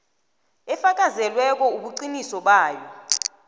efakazelweko ubuqiniso bayo